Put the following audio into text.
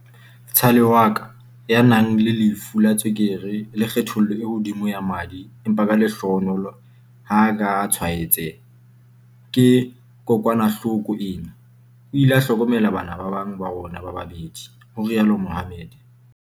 "vtsale wa ka, ya nang le lefu la tswekere le kgatello e hodimo ya madi empa ka lehlohonolo ha a ka a tshwaetseha ke kokwanahloko ena, o ile a hlokomela bana ba bang ba rona ba babedi," ho rialo Mohammed.